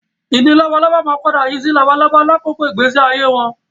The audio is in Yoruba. Ìdin labalábá máa yí padà sí labalábá lákòókò ìgbésí ayé wọn